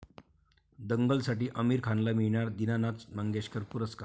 दंगल'साठी आमिर खानला मिळणार दीनानाथ मंगेशकर पुरस्कार